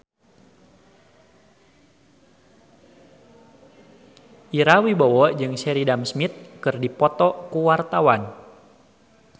Ira Wibowo jeung Sheridan Smith keur dipoto ku wartawan